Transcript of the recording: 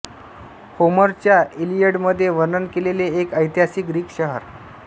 होमरच्या इलियडमध्ये वर्णन केलेले एक ऐतिहासिक ग्रीक शहर